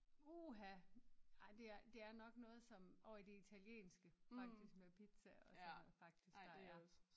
Uha! Ej det er det er nok noget som ovre i det italienske faktisk med pizza og sådan noget faktisk der er